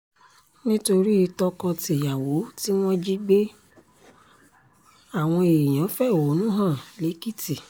nítorí tọkọ-tìyàwó tí wọ́n jí gbé àwọn èèyàn fẹ̀hónú hàn lẹ́kìtì